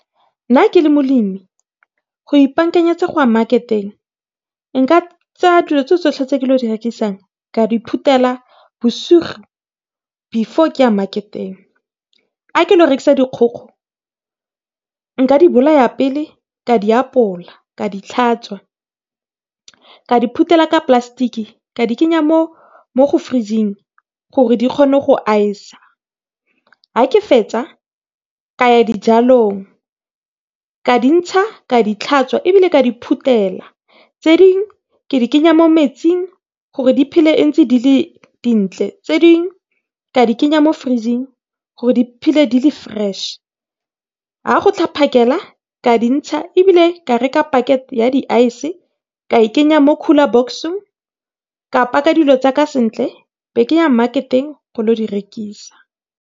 Nna le molemi go ipakanyetsa goya marketeng nka tsaya dilo tsotsotlhe tse kilo direkisang ka diphutela bosigo before ke ya marketeng. Ga ke lo rekisa dikgogo nka di bolaya pele ka di apola ka di tlhatswa ka di phutela ka plastic ka di kenya mo go fridge-ing gore di kgone go ice-sa. A ke fetsa kaya dijalong ka dintsha ka di tlhatswa ebile ka di phutela. Tse ding ke di kenya mo metsing gore di phele ntse dile dintle, tse dingwe ka di kenya mo fridge-ing gore di phele dile fresh. Ga go tla phakela ka dintsha ebile ka reka pakete ya di-ice ka kenya mo cooler box-ong, ka paka dilo tsaka sentle e be keya marketeng go lo di rekisa.